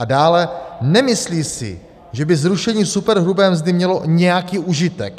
A dále, nemyslí si, že by zrušení superhrubé mzdy mělo nějaký užitek.